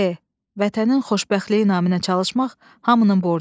E. Vətənin xoşbəxtliyi naminə çalışmaq hamının borcudur.